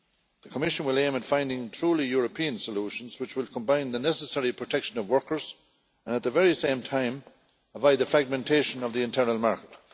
The Commission will aim at finding truly European solutions which would combine the necessary protection of workers and at the very same time avoid the fragmentation of the internal market.